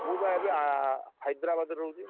ମୁଁ ବା ଏବେ noies Hyderabad ରେ ରହୁଛି।